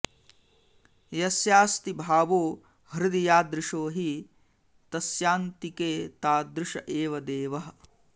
यस्यास्ति भावो हृदि यादृश हि तस्यान्तिके तादृश एव देवः